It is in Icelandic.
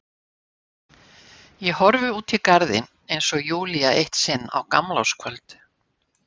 Ég horfi út í garðinn eins og Júlía eitt sinn á gamlárskvöld.